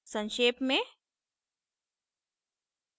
संक्षेप में